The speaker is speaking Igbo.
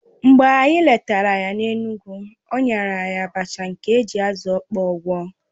Mgbe anyị letara ya n'Enugwu, o nyere anyị abacha nke e ji azụ̀ ọkpọ gwọ̀